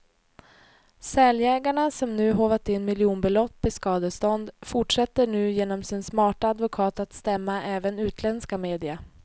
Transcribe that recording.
Säljägarna som nu håvat in miljonbelopp i skadestånd, fortsätter nu genom sin smarta advokat att stämma även utländska media.